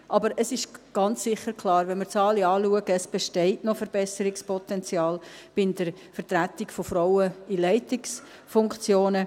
Aber es ist ganz sicher klar: Wenn wir die Zahlen anschauen, besteht noch Verbesserungspotenzial in der Vertretung der Frauen in Leitungsfunktionen.